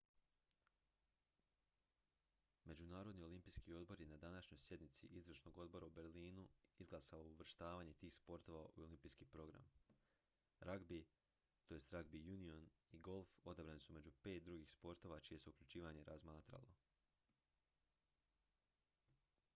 međunarodni olimpijski odbor je na današnjoj sjednici izvršnog odbora u berlinu izglasao uvrštavanje tih sportova u olimpijski program ragbi tj ragbi union i golf odabrani su među pet drugih sportova čije se uključivanje razmatralo